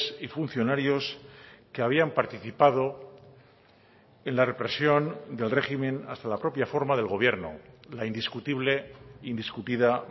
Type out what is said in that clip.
y funcionarios que habían participado en la represión del régimen hasta la propia forma del gobierno la indiscutible indiscutida